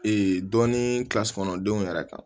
dɔɔnin kilasi kɔnɔndenw yɛrɛ kan